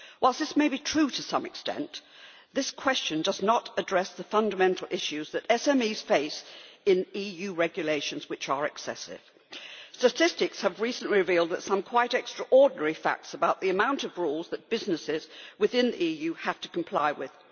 Whilst this may be true to some extent, this question does not address the fundamental issues that SMEs face in EU regulations that are excessive. Statistics have recently revealed some quite extraordinary facts about the amount of rules that businesses within the EU have to comply with.